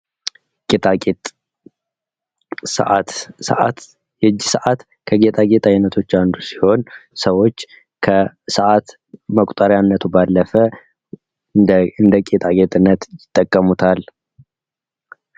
ጌጣጌጥ ፤ ሰአት፣ ሰአት የእጅ ሰአት ከጌጣጌጥ አይነቶች አንዱ ሲሆን ሰዎች ከሰአት መቁጠሪያነቱ ባለፈ እንደ ጌጣጌጥነት ይጠቀሙታል።